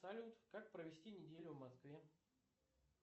салют как провести неделю в москве